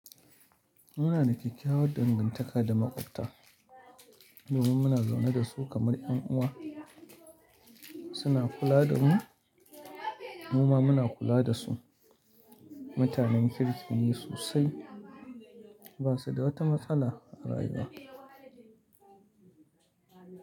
Muna da kyakkyawar dangantaka da maƙwabta domin muna zaune da su kamar 'yan uwa. Suna kula da mu, mu ma muna kula da su. Mutanen kirki ne sosai, ba su da wata matsala a rayuwa.